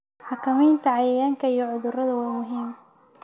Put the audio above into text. Xakamaynta cayayaanka iyo cudurrada waa muhiim.